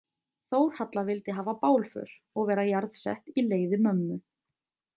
Þórhalla vildi hafa bálför og vera jarðsett í leiði mömmu.